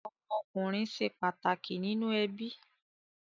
Ọmọkunrin ṣe pataki ninu ẹbi